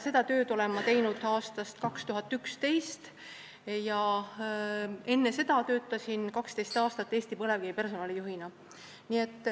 Seda tööd olen ma teinud aastast 2011, enne seda töötasin 12 aastat Eesti Põlevkivi personalijuhina.